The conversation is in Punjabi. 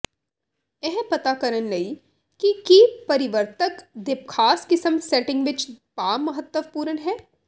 ਇਹ ਪਤਾ ਕਰਨ ਲਈ ਕਿ ਕੀ ਪਰਿਵਰਤਕ ਦੇ ਖਾਸ ਕਿਸਮ ਸੈਟਿੰਗ ਵਿੱਚ ਪਾ ਮਹੱਤਵਪੂਰਨ ਹੈ